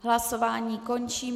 Hlasování končím.